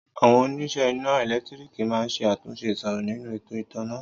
Àwọn onísẹ́ iná ẹ̀lẹ́ntíríkì ma ń ṣe àtúnṣe ìṣòro nínú ètò ìtanná